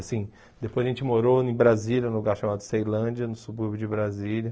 Assim, depois a gente morou em Brasília, num lugar chamado Ceilândia, no subúrbio de Brasília.